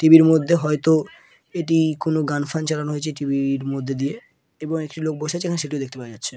টি.ভির মধ্যে হয়তো এটি কোন গান ফান চালানো হয়েছে টি.ভির মধ্যে দিয়ে | এবং একটি লোক বসে আছে এখানে সেটিও দেখতে পাওয়া যাচ্ছে।